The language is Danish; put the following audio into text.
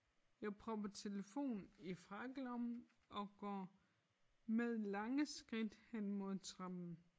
Jeg propper telefonen i frakkelommen og går med lange skridt hen mod trappen